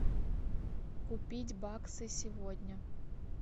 купить баксы сегодня